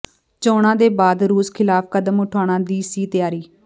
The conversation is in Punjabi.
ਚੋਣਾਂ ਦੇ ਬਾਅਦ ਰੂਸ ਖ਼ਿਲਾਫ਼ ਕਦਮ ਉਠਾਉਣ ਦੀ ਸੀ ਤਿਆਰੀ